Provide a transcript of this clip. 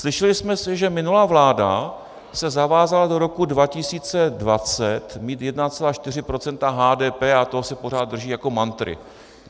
Slyšeli jsme, že minulá vláda se zavázala do roku 2020 mít 1,4 % HDP a toho se pořád drží jako mantry.